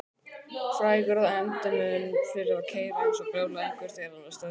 Frægur að endemum fyrir að keyra eins og brjálæðingur þegar hann var stressaður.